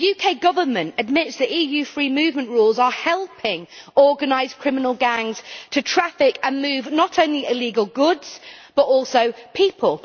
The UK Government admits that EU free movement rules are helping organised criminal gangs to traffic and move not only illegal goods, but also people.